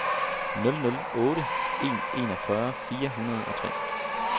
nul nul otte en enogfyrre fire hundrede og tre